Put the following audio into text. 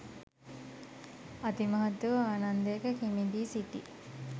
අති මහත් වූ ආනන්දයක කිමිදී සිටි